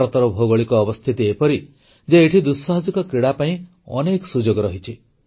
ଭାରତର ଭୌଗୋଳିକ ଅବସ୍ଥିତି ଏପରି ଯେ ଏଠି ଦୁଃସାହସିକ କ୍ରୀଡ଼ା ପାଇଁ ଅନେକ ସୁଯୋଗ ରହିଛି